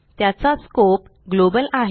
त्याचा scope global आहे